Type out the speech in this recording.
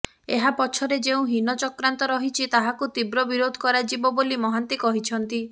ଏହା ପଛରେ ଯେଉଁ ହୀନ ଚକ୍ରାନ୍ତ ରହିଛି ତାହାକୁ ତୀବ୍ର ବିରୋଧ କରାଯିବ ବୋଲି ମହାନ୍ତି କହିଛନ୍ତି